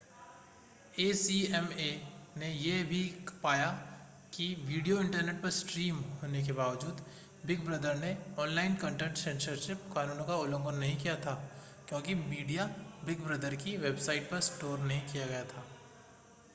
ACMA ने यह भी पाया कि वीडियो इंटरनेट पर स्ट्रीम होने के बावजूद बिग ब्रदर ने ऑनलाइन कंटेंट सेंसरशिप कानूनों का उल्लंघन नहीं किया था क्योंकि मीडिया बिग ब्रदर की वेबसाइट पर स्टोर नहीं किया गया था